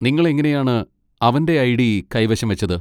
നിങ്ങൾ എങ്ങനെയാണ് അവന്റെ ഐഡി കൈവശം വച്ചത്?